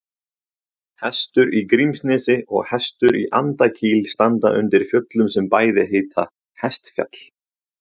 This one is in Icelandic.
Hestur í Grímsnesi og Hestur í Andakíl standa undir fjöllum sem bæði heita Hestfjall.